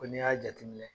Ko n'i y'a jateminɛ